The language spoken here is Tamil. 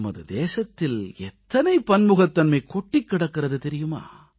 நமது தேசத்தில் எத்தனை பன்முகத்தன்மை கொட்டிக் கிடக்கிறது தெரியுமா